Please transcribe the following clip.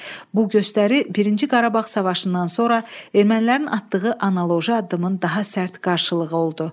Bu göstəri birinci Qarabağ müharibəsindən sonra ermənilərin atdığı analoji addımın daha sərt qarşılığı oldu.